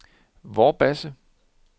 Vorbasse